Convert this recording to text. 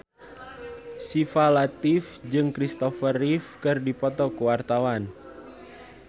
Syifa Latief jeung Kristopher Reeve keur dipoto ku wartawan